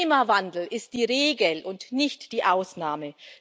Klimawandel ist die Regel und nicht die Ausnahme.